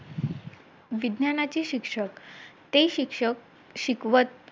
वडिलांच्या डोळ्यात आज आपल्या मुलासाठी दिसणारी ती जाणीव आपल्या मुलाला आज कर्तृत्वान पाहण्याचं आज त्यांना संधी मिळाली.